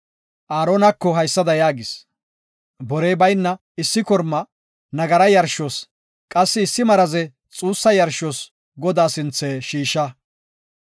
Aaronako haysada yaagis; borey bayna issi korma nagaraa yarshos, qassi issi maraze xuussa yarshos Godaa sinthe shiisha.